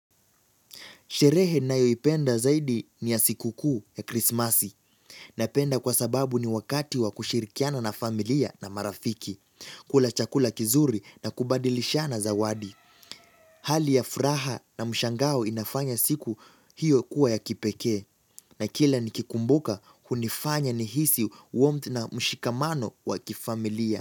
Sherehe ninayoipenda zaidi ni ya siku kuu ya krismasi. Napenda kwa sababu ni wakati wa kushirikiana na familia na marafiki, kula chakula kizuri na kubadilishana zawadi. Hali ya furaha na mshangao inafanya siku hiyo kuwa ya kipekee na kila nikikumbuka hunifanya nihisi warmth na mshikamano wa kifamilia.